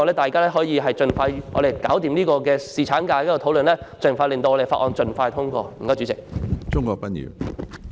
大家不如盡快完成有關侍產假的討論，並盡快通過《條例草案》。